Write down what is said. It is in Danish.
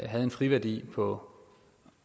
havde en friværdi på